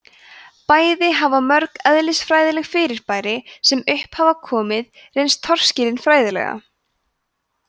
bæði hafa mörg eðlisfræðileg fyrirbæri sem upp hafa komið reynst torskilin fræðilega